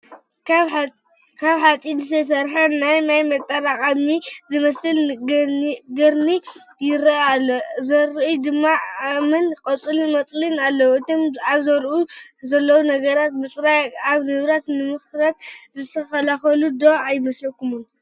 ካብ ሓፂን ዝተሰርሐ ናይ ማይ መጠራቐሚ ዝመስል ገንኢ ይርአ ኣሎ፡፡ ዙርይኡ ድማ እምንን ቆፅለመፅልን ኣለዉ፡፡ እቶም ኣብ ዙሪኡ ዘለዎ ነገራት ምፅራግ እቲ ንብረት ንኸይምርት ዝከላኸሉሉ ዶ ኣይመስለኹምን?